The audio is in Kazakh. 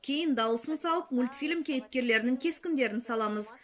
кейін дауысын салып мультфильм кейіпкерлерінің кескіндерін саламыз